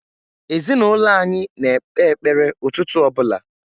Ezinaụlọ anyị na-ekpe ekpere ụtụtụ ọ bụla.